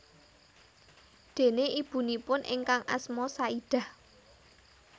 Déné ibunipun ingkang asma Saidah